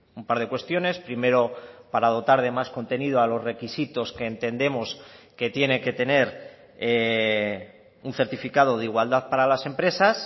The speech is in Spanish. un par de cuestiones primero para dotar de más contenido a los requisitos que entendemos que tiene que tener un certificado de igualdad para las empresas